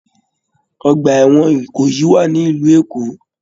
Ọgbà ẹwọn Ìkòyí wà nílu Èkó.